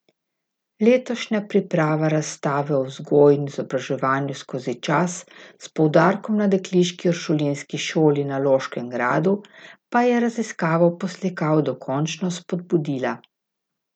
Letošnja priprava razstave o vzgoji in izobraževanju skozi čas s poudarkom na dekliški uršulinski šoli na Loškem gradu, pa je raziskavo poslikav dokončno spodbudila.